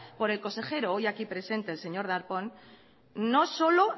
por el consejero hoy aquí presente el señor darpón no solo